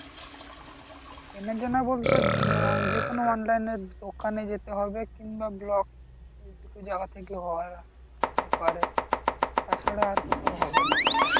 চেনা জানা বলতে উম যে কোনো online এর দোকান যেতে হবে কিংবা block এই দুটো জায়গা থেকে হয় আহ হতে পারে তা ছাড়া আর কোথাও হবে না তো